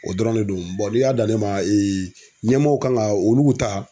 O dɔrɔn de don bɔn n'i y'a dan ne ma ee ɲɛmɔgɔw kan ga olu ta